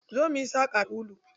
Zo muyi saƙa da ulu.